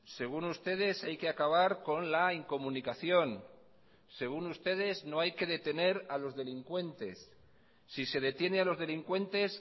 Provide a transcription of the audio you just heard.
según ustedes hay que acabar con la incomunicación según ustedes no hay que detener a los delincuentes si se detiene a los delincuentes